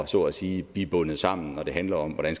så at sige blive bundet sammen når det handler om hvordan